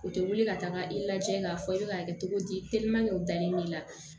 U tɛ wuli ka taaga i lajɛ k'a fɔ i bɛ k'a kɛ cogo di o danni b'i la